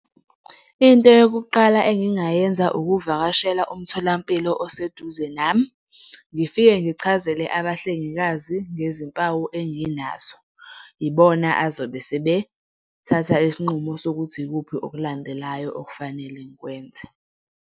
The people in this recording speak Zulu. Into yokuqala engingayenza ukuvakashela umtholampilo oseduze nami, ngifike ngichazele abahlengikazi ngezimpawu enginazo, ibona abazobe sebethatha isinqumo sokuthi ikuphi okulandelayo okufanele ngikwenze.